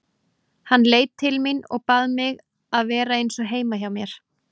Hann leit til mín og bað mig að vera eins og heima hjá mér.